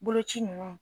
Boloci ninnu